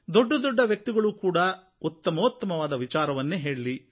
ದೊಡ್ಡದೊಡ್ಡ ವ್ಯಕ್ತಿಗಳೂ ಕೂಡ ಉತ್ತಮೋತ್ತಮವಾದ ವಿಚಾರವನ್ನೇ ಹೇಳಲಿ